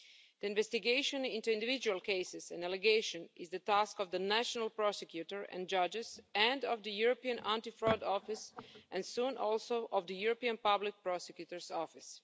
The investigation into individual cases in allegation is the task of the national prosecutor and judges, and of the European Anti Fraud Office and, soon, also of the European Public Prosecutor's Office.